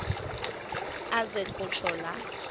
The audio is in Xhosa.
aze kutsho la